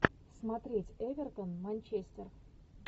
смотреть эвертон манчестер